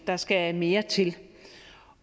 der skal mere til